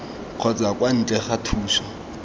kgotsa kwa ntle ga thuso